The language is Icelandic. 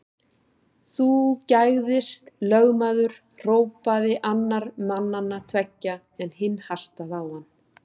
Þú gægðist, lögmaður hrópaði annar mannanna tveggja, en hinn hastaði á hann.